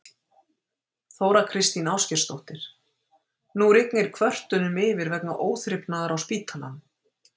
Þóra Kristín Ásgeirsdóttir: Nú rignir kvörtunum yfir vegna óþrifnaðar á spítalanum?